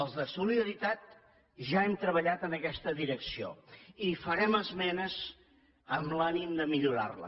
els de solidaritat ja hem treballat en aquesta direcció i hi farem esmenes amb l’ànim de millorar la